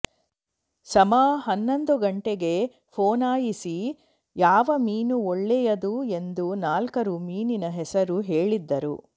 ಸಮಾ ಹನ್ನೊಂದು ಗಂಟೆಗೆ ಫೋನಾಯಿಸಿ ಯಾವ ಮೀನು ಒಳ್ಳೆಯದು ಎಂದು ನಾಲ್ಕಾರು ಮೀನಿನ ಹೆಸರು ಹೇಳಿದ್ದರು